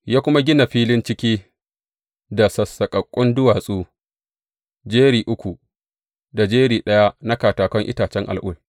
Ya kuma gina filin ciki da sassaƙaƙƙun duwatsu, jeri uku, da jeri ɗaya na katakan itacen al’ul.